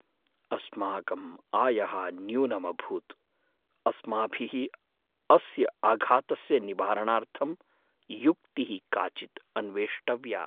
अस्माकं आयः न्यून्यभूत्! अस्माभिः अस्य आघातस्य निवारणार्थं युक्तिः काचिद् अन्वेष्टव्या।